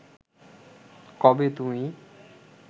কবে তুমি